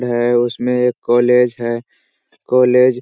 है उसमें एक कॉलेज है कॉलेज --